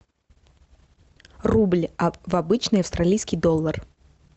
рубль в обычный австралийский доллар